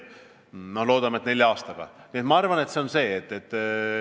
Ma arvan, et see on see.